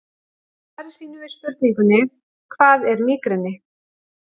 Í svari sínu við spurningunni Hvað er mígreni?